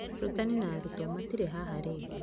Aarutani na arutwo matĩrĩ haha rĩngĩ.